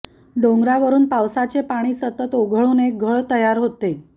डोंगरावरून पावसाचे पाणी सतत ओघळून एक घळ तयार होते